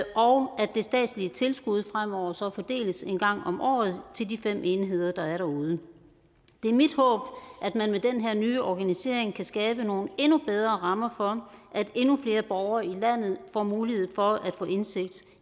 og at det statslige tilskud fremover så fordeles en gang om året til de fem enheder der er derude det er mit håb at man med den her nye organisering kan skabe nogle endnu bedre rammer for at endnu flere borgere i landet får mulighed for at få indsigt